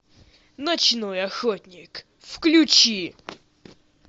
ночной охотник включи